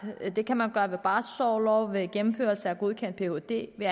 det kan man gøre ved barselsorlov ved gennemførelse af godkendt phd ved